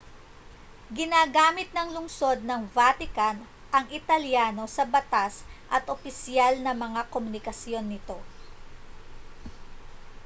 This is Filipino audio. ginagamit ng lungsod ng vatican ang italyano sa batas at opisyal na mga komunikasyon nito